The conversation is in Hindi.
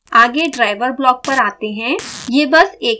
आगे driver ब्लॉक पर आते हैं